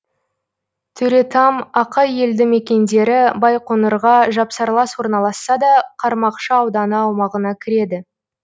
төретам ақай елді мекендері байқоңырға жапсарлас орналасса да қармақшы ауданы аумағына кіреді